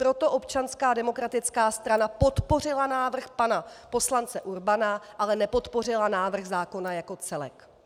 Proto Občanská demokratická strana podpořila návrh pana poslance Urbana, ale nepodpořila návrh zákona jako celek.